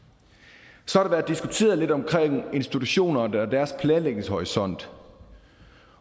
så har der været diskuteret lidt om institutionerne og deres planlægningshorisont